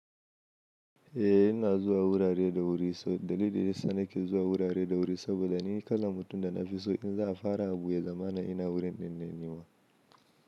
Eh ina zuwa wurare da wuri so dalilin dayasa nake zuwa wurare da wuri saboda ni kalan mutum da na fi so in za a fara abu ya zamana ina wurin dinnan nema.